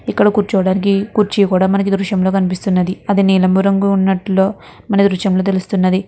ఇక్కడ కూర్చోడానికి కుర్చీ కూడా మనకి ఈ దృశ్యం లో కనిపిస్తునంది అది నీలం రంగులో ఉన్నట్టు మనకి ఈ దృశ్యం లో తెలుస్తునంది.